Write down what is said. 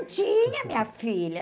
Num tinha, minha filha.